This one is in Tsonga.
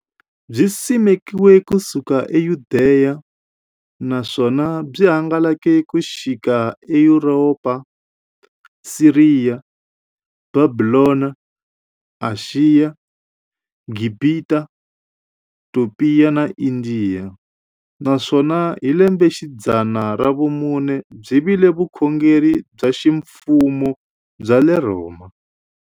Byisimekiwe ku suka eYudeya, naswona byi hangalake ku xika eYuropa, Siriya, Bhabhilona, Ashiya, Gibhita, Topiya na Indiya, naswona hi lembexidzana ra vumune byi vile vukhongeri bya ximfumo bya le Rhoma.